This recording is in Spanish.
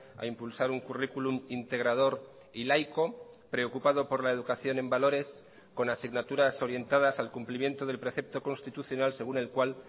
a impulsar un currículum integrador y laico preocupado por la educación en valores con asignaturas orientadas al cumplimiento del precepto constitucional según el cual